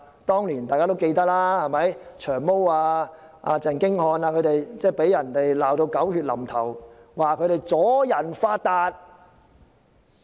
大家也記得，當年"長毛"和鄭經翰被罵得狗血淋頭，指他們"阻人發達"。